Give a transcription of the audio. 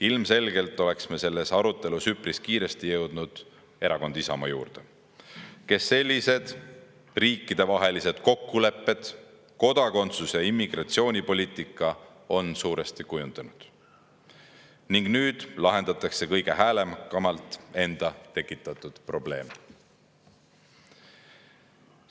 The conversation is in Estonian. Ilmselgelt oleks me selles arutelus üpris kiiresti jõudnud erakonna Isamaa juurde, kes sellised riikidevahelised kokkulepped, kodakondsus‑ ja immigratsioonipoliitika on suuresti kujundanud, ning nüüd lahendab kõige häälekamalt enda tekitatud probleemi.